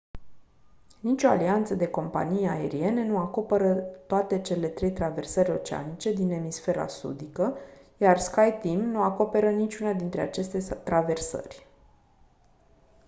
nicio alianță de companii aeriene nu acoperă toate cele trei traversări oceanice din emisfera sudică iar skyteam nu acoperă niciuna dintre aceste traversări